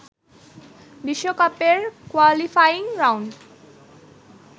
বিশ্বকাপের qualifying round